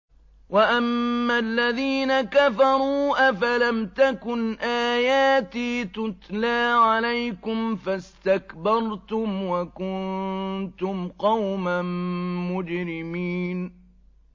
وَأَمَّا الَّذِينَ كَفَرُوا أَفَلَمْ تَكُنْ آيَاتِي تُتْلَىٰ عَلَيْكُمْ فَاسْتَكْبَرْتُمْ وَكُنتُمْ قَوْمًا مُّجْرِمِينَ